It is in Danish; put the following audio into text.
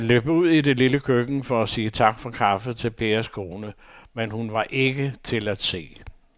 Han løb ud i det lille køkken for at sige tak for kaffe til Pers kone, men hun var ikke til at se.